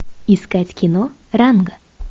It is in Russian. искать кино ранго